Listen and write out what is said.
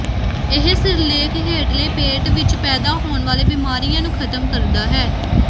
ਇਹ ਸਿਰਲੇਖ ਹੇਠਲੇ ਪੇਟ ਵਿੱਚ ਪੈਦਾ ਹੋਣ ਵਾਲੇ ਬਿਮਾਰੀਆਂ ਨੂੰ ਖਤਮ ਕਰਦਾ ਹੈ